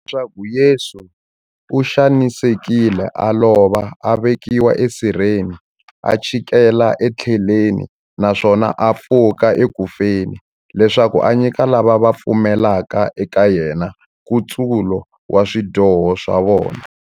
Leswaku Yesu u xanisekile, a lova, a vekiwa esirheni, a chikela etiheleni, naswona a pfuka eku feni, leswaku a nyika lava va pfumelaka eka yena, nkutsulo wa swidyoho swa vona.